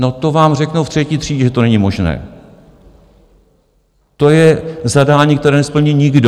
No, to vám řeknou v třetí třídě, že to není možné, to je zadání, které nesplní nikdo.